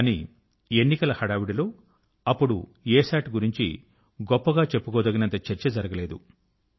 కానీ ఎన్నికల హడావిడి లో అప్పుడు అసత్ గురించి గొప్పగా చెప్పుకోదగినంత చర్చ జరగలేదు